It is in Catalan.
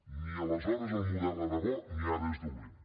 ni aleshores el model era bo ni ara és dolent